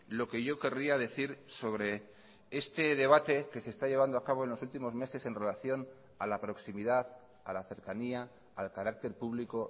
lo que yo querría decir sobre este debate que se está llevando a cabo en los últimos meses en relación a la proximidad a la cercanía al carácter público